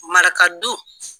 Maraka du